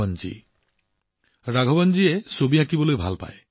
ৰাঘৱন জী চিত্ৰকলাৰ প্ৰতি আকৰ্ষিত